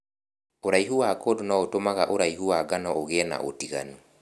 ũraihu wa kũndũ nũgũtũmaga ũraihu wa ngano ũgie na ũtiganu.